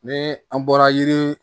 Ni an bɔra yiri